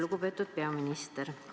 Lugupeetud peaminister!